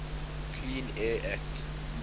clean air act